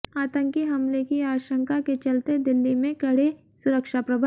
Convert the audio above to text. आतंकी हमले की आशंका के चलते दिल्ली में कड़े सुरक्षा प्रबंध